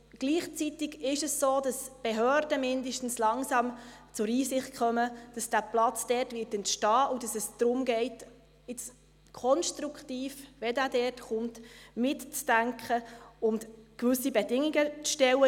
Gleichzeitig ist es so, dass zumindest die Behörden langsam zur Einsicht kommen, dass der Platz dort entstehen wird, und es darum geht, jetzt konstruktiv, wenn der Platz dort kommt, mitzudenken und gewisse Bedingungen zu stellen.